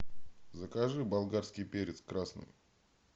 закажи болгарский перец красный